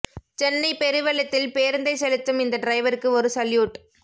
சென்னை பெரு வெள்ளத்தில் பேருந்தை செலுத்தும் இந்த டிரைவருக்கு ஒரு சல்யூட்